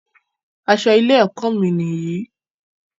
Aṣọ ilé ẹkọ mí níyì